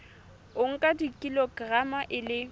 o nka kilograma e le